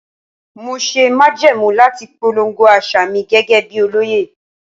Mo ṣe májẹ̀mú láti polongo àṣà mi gẹ́gẹ́ bí olóyè.